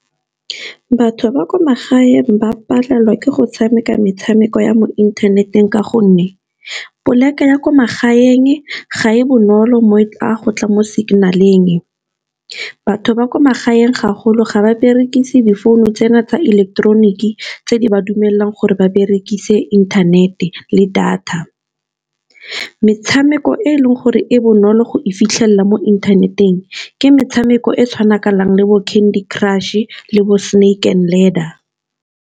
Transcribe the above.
Batho ba kwa magaeng ba palelwa ke go tshameka metshameko ya mo inthaneteng ka gonne, poleke ya kwa magaeng ga e bonolo mo a gotla mo signal-eng. Batho ba kwa magaeng gagolo ga ba berekise difounu tsena tsa ileketeroniki. Tse di ba dumelelang gore ba berekise inthanete le data, metshameko e e leng gore e bonolo go e fitlhelela mo inthaneteng ke metshameko e tshwanakanang, le bo candy crush e le bo snake and ladder.